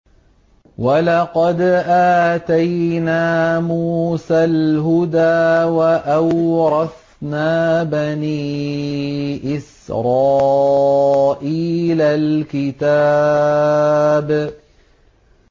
وَلَقَدْ آتَيْنَا مُوسَى الْهُدَىٰ وَأَوْرَثْنَا بَنِي إِسْرَائِيلَ الْكِتَابَ